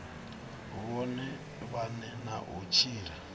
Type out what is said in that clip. vhone vhane na u tshila